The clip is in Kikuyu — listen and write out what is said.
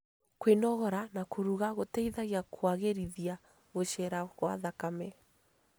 Kwĩnogora na kũrũga gũteithagia kũagĩrithia gũcera gwa thakame